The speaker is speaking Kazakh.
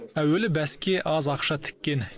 әуелі бәске аз ақша тіккен